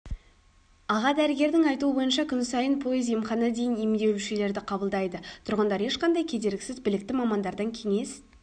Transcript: аға дәрігердің айтуы бойынша күн сайын пойыз-емхана дейін емделушілерді қабылдайды тұрғындар ешқандай кедергісіз білікті мамандардан кеңес